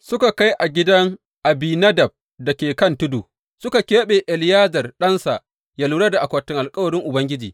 Suka kai a gidan Abinadab da ke kan tudu, suka keɓe Eleyazar ɗansa yă lura da akwatin alkawarin Ubangiji.